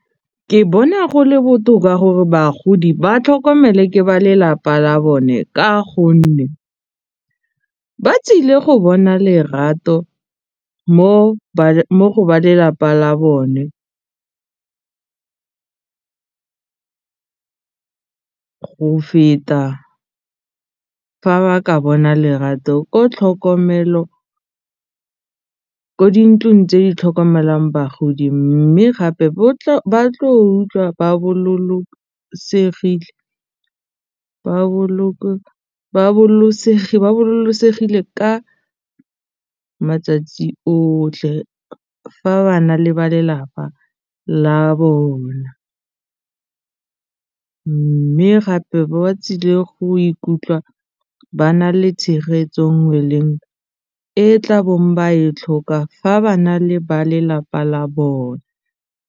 Ke bona go le botoka gore bagodi ba tlhokomele ke ba lelapa la bone ka gonne ba tsile go bona lerato mo go ba lelapa la bone go feta fa ba ka bona lerato ko tlhokomelo ko dintlong tse di tlhokomelang bagodi mme gape ba tlo utlwa ba ka matsatsi otlhe fa ba na le ba lelapa la bona mme gape ba tsile go ikutlwa ba na le tshegetso nngwe leng e tla bong ba e tlhoka fa ba na le ba lelapa la bone.